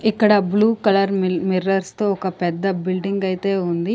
ఇక్కడ blue colour మిల్-- mirrors తో ఒక పెద్ద బిల్డింగ్ అయితే ఉంది.